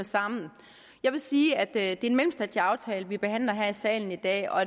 sammen jeg vil sige at det er en mellemstatslig aftale vi behandler her i salen i dag og